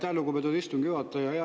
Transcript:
Aitäh, lugupeetud istungi juhataja!